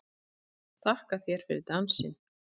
Þakka þér fyrir dansinn!